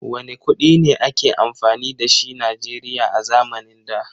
Wanne kuɗi ne a ke amfani da shi Najeriya a zamanin da?